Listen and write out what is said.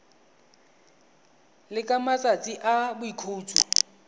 le ka matsatsi a boikhutso